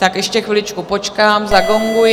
Tak ještě chviličku počkám, zagonguji.